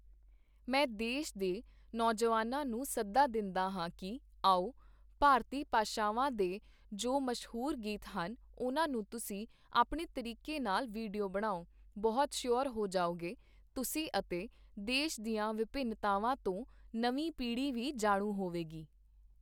ਮੈਂ ਦੇਸ਼ ਦੇ ਨੌਜਵਾਨਾਂ ਨੂੰ ਸੱਦਾ ਦਿੰਦਾ ਹਾਂ ਕਿ, ਆਓ, ਭਾਰਤੀ ਭਾਸ਼ਾਵਾਂ ਦੇ ਜੋ ਮਸ਼ੂਹਰ ਗੀਤ ਹਨ, ਉਨ੍ਹਾਂ ਨੂੰ ਤੁਸੀਂ ਆਪਣੇ ਤਰੀਕੇ ਨਾਲ ਵੀਡੀਓ ਬਣਾਓ, ਬਹੁਤ ਸ਼ੂਹਰ ਹੋ ਜਾਓਗੇ, ਤੁਸੀਂ ਅਤੇ ਦੇਸ਼ ਦੀਆਂ ਵਿਭਿੰਨਤਾਵਾਂ ਤੋਂ ਨਵੀਂ ਪੀੜ੍ਹੀ ਵੀ ਜਾਣੂ ਹੋਵੇਗੀ।